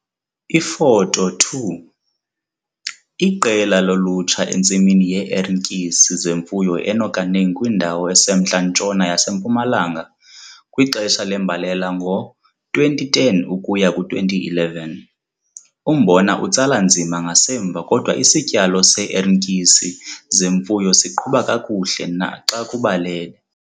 Ifoto 2 - Iqela lolutsha entsimini yee-ertyisi zemfuyo eNokaneng kwindawo esemntla-ntshona yaseMpumalanga, kwixesha lembalela ngo-2010 ukuya ku-2011. Umbona utsala nzima ngasemva kodwa isityalo see-ertyisi zemfuyo siqhuba kakuhle naxa kubalele.